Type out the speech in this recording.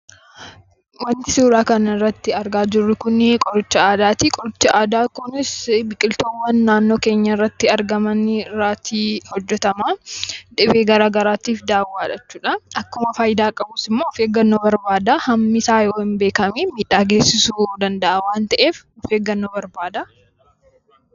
Wanti suuraa kanarratti argaa jirru kun qoricha aadaati. Qorichi aadaa kun biqiltoota adda addaa naannoo keenyatti argaman irratii hojjatama. Dhibee garaagaraatiif dawaadha jechuudha. Akkuma fayidaa qabu miidhaas waan qabuuf of eeggannoo barbaada. Hammi fayyadamuu qabnus of eeggannoon ta'uu baannaan miidhaa geessisa.